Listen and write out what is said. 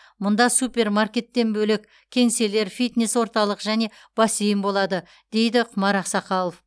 мұнда супермаркеттен бөлек кеңселер фитнес орталық және бассейн болады дейді құмар ақсақалов